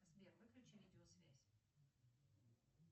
сбер выключи видеосвязь